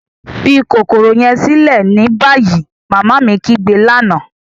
Fi kokoro yẹn silẹ ni bayi! Mama mi kigbe lana.